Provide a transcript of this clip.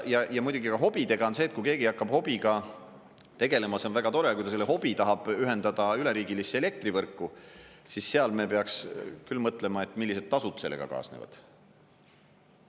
Ja muidugi ka hobidega on see, et kui keegi hakkab hobiga tegelema, siis see on väga tore, aga kui ta selle hobi tahab ühendada üleriigilisse elektrivõrku, siis seal me peaks küll mõtlema, millised tasud sellega kaasnevad.